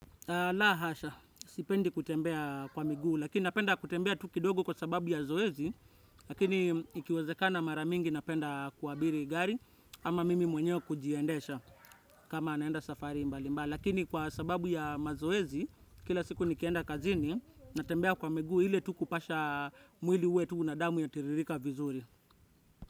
La hasha, sipendi kutembea kwa migu, lakini napenda kutembea tu kidogo kwa sababu ya zoezi, lakini ikiwezekana mara mingi napenda ku abiri gari, ama mimi mwenyeo kujiendesha kama naenda safari mbali mbali. Lakini kwa sababu ya mazoezi, kila siku nikienda kazini, natembea kwa miguu ile tu kupasha mwili uwe tu na damu yatiririka vizuri.